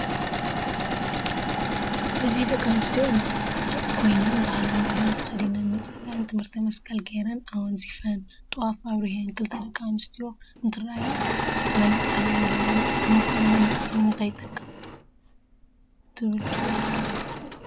እዚ ደቂ ኣንስትዮ ኮይነን ባህላዊ ክዳን ተከዲነን ነፃለእን ትምሕርት መቀል ገይረን ኣውንዝፍን ጥፋ ኣብርሕ ክልተ ደቂ ኣንስትዮ እንትርኣያ መነፀር ገይረን ንምኳኑ መነፀር ንምንታይ ይጠቅም ትብል ትፍልጥዶ?